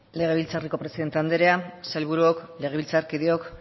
legebiltzarreko presidente andrea sailburuok legebiltzarkideok